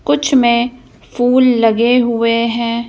कुछ में फूल लगे हुए हैं।